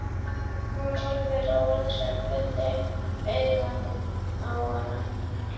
Hún horfir rannsakandi augum á hana.